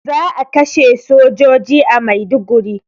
Za a kashe sojoji a Maiduguri